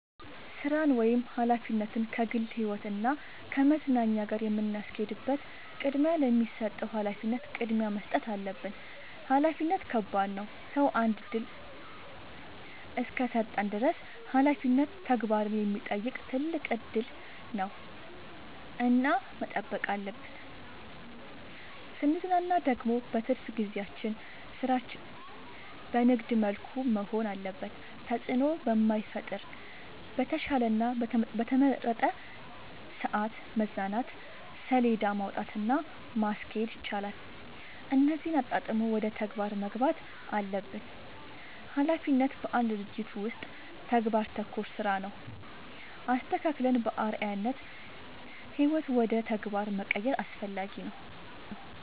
ስራን ወይም ሀላፊነትን ከግል ህይወት እና ከመዝናኛ ጋር የምናስኬድበት ቅድሚያ ለሚሰጠው ሀላፊነት ቅድሚያ መስጠት አለብን። ሀላፊነት ከባድ ነው ሰው አንድ እድል እስከሰጠን ድረስ ሀላፊነት ተግባርን የሚጠይቅ ትልቅ እድል ነው እና መጠበቅ አለብን። ስንዝናና ደግሞ በትርፍ ጊዜያችን ስራችን በንግድ መልኩ መሆን አለበት ተጽዕኖ በማይፈጥር በተሻለ እና በተመረጠ ሰዐት መዝናናት ሴለዳ ማውጣት እና ማስኬድ ይቻላል እነዚህን አጣጥሞ ወደ ተግባር መግባት አለብን። ሀላፊነት በአንድ ድርጅት ውስጥ ተግባር ተኮር ስራ ነው። አስተካክለን በአርዐያነት ህይወት ውደ ተግባር መቀየር አስፈላጊ ነው።